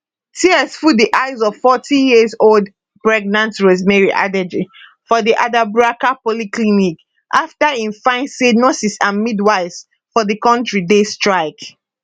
tears full di eyes of 40yearold pregnant rosemary adjei for di adabraka polyclinic afta im find say nurses and midwives for di kontri dey strike